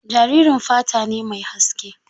Jaririn fata ne mai haske.